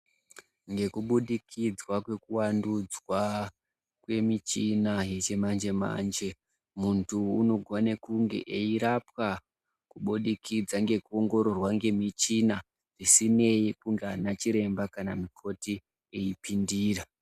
Ngekubudikidzwa kwekuwandudzwa kwemichina yechimanje-manje muntu unogone kunge airwapwa kubudikidza ngekuongororwa ngemichina isinei kunga ana chiremba kana ana mukoti eipindira.